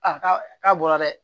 A ka k'a bɔra dɛ